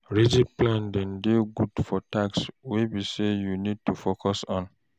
Rigid plan de dey good for tasks wey be sey you need to focus on